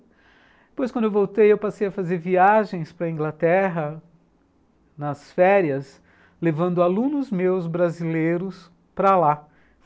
Depois, quando eu voltei, eu passei a fazer viagens para Inglaterra, nas férias, levando alunos meus brasileiros para lá.